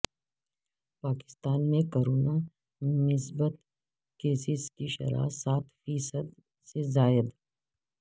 پاکستان میں کرونا مثبت کیسز کی شرح سات فی صد سے زائد